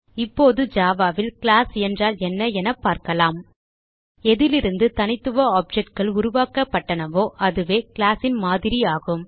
இப்போது ஜாவா ல் கிளாஸ் என்றால் என்ன என பார்க்கலாம் எதிலிருந்து தனித்துவ objectகள் உருவாக்கப்பட்டனவோ அதுவே கிளாஸ் ன் மாதிரி ஆகும்